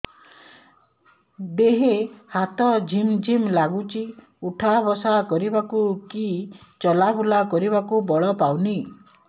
ଦେହେ ହାତ ଝିମ୍ ଝିମ୍ ଲାଗୁଚି ଉଠା ବସା କରିବାକୁ କି ଚଲା ବୁଲା କରିବାକୁ ବଳ ପାଉନି